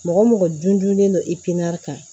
Mɔgɔ mɔgɔ dun dunnen don kan